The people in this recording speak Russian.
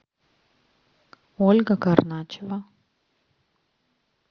ольга карначева